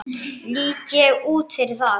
Lít ég út fyrir það?